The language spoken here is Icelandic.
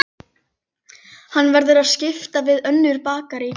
Hann verður að skipta við önnur bakarí.